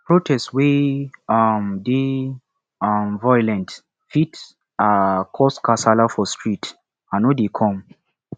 protest wey um dey um violent fit um cause kasala for street i no dey come